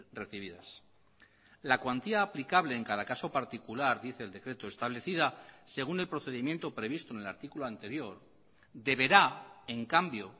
recibidas la cuantía aplicable en cada caso particular dice el decreto establecida según el procedimiento previsto en el artículo anterior deberá en cambio